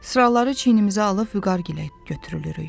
Sıraları çiynimizə alıb Vüqar gilə götürülürük.